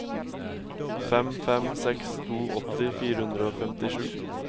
fem fem seks to åtti fire hundre og femtisju